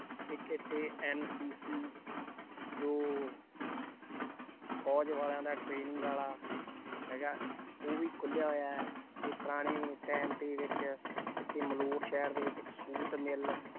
ਇੱਕ ਇੱਥੇ NCC ਜੋ ਫ਼ੋਜ਼ ਵਾਲਿਆਂ ਦਾ training ਵਾਲਾ ਹੈਗਾ, ਉਹ ਵੀ ਖੁੱਲਿਆ ਹੋਇਆ ਹੈ ਤੇ ਪੁਰਾਣੇ time ਦੇ ਵਿੱਚ ਇੱਥੇ ਮਲੌਟ ਸ਼ਹਿਰ ਦੇ ਵਿੱਚ ਇੱਕ ਛੂਤ ਮੇਲਾ